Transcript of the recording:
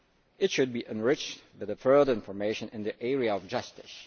It should be enriched with further information in the area of justice.